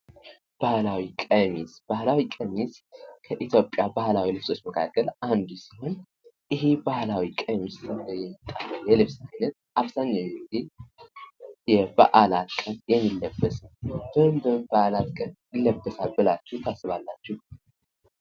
ባህላዊ ቀሚስ ባህላዊ ቀሚስ ከኢትዮጵያ ባህላዊ ልብሶች መካከል አንዱ ሲሆን ይህ ባህላዊ ቀሚስ የልብስ አይነት አብዛኛውን ጊዜ የበዓላት ቀን የሚለበት ነው። በምን በምን በዓላት ቀን ይለበሳል ብላችሁ ታስባላችሁ።